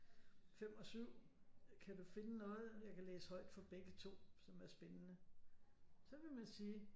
5 og 7 kan du finde noget jeg kan læse højt for begge to som er spændende så ville man sige